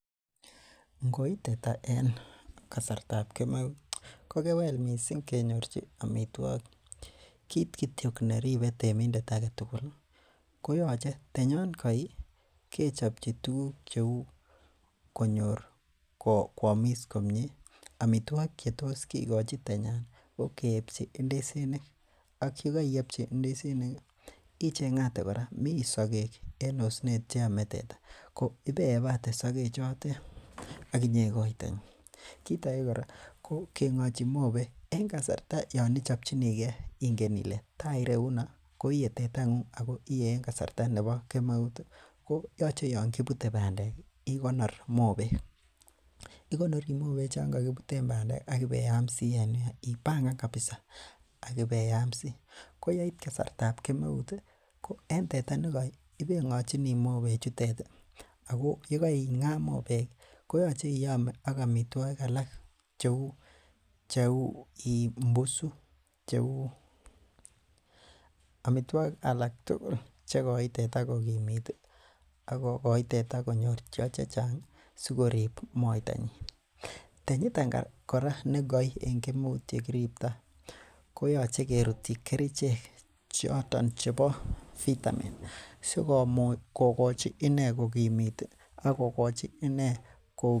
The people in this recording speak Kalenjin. Ngoi teta en kasartab kemeut ko kewel missing kenyorchi amitwogik kit kityok nenyoru temindet aketugul koyoche tenyon koi kechopchi tuguk cheu konyor koamis komie, amitwogik chetos kikochi tenyan ko keepchi ndisinik ak yekoiepchi ndisinik ih icheng'ate kora mii sogek en osnet cheome teta ko ibeebate sogek chotet ak inyeikoite kit ake kora ko keng'ochi mobek en kasarta yon ichopchinigee ingen ile taa ireuno ko ie tetangung ako ie en kasarta nebo kemeut ih koyoche yon kibute bandek ih ikonor mobek, ikonori mobek chon kokibuten bandek ak ibeyamsii ibangan kabisa ak ibeyamsii ko yeit kasartab kemeut ko en teta nekoi ibeng'ochini mobek chutet ih ako yekeing'aa mobek koyoche iyome ak amitwogik alak cheu mbusu cheu amitwogik alak tugul chekoin teta kokimit akokoi teta konyor cheo chechang ih sikorib moitanyin. Tenyiton kora nekoi en kemeut yekiriptoo koyoche kerutyi kerichek choton chebo vitamin sikomuch kokochi inee kokimit akokochi inee ko